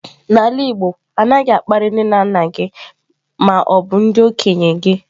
n'ala igbo, anaghi akpari nne na nna gi ma obu ndi okenye gi